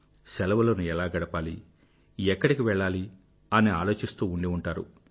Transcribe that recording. శెలవులను ఎలా గడపాలి ఎక్కడికి వెళ్ళాలి అని ఆలోచిస్తూ ఉండి ఉంటారు